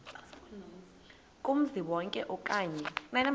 kumzi wonke okanye